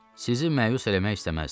Sizi məyus eləmək istəməzdim.